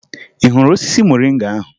Ị hụrụ osisi moringa ahụ?